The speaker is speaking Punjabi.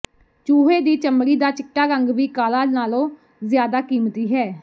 ਚੂਹੇ ਦੀ ਚਮੜੀ ਦਾ ਚਿੱਟਾ ਰੰਗ ਵੀ ਕਾਲਾ ਨਾਲੋਂ ਜ਼ਿਆਦਾ ਕੀਮਤੀ ਹੈ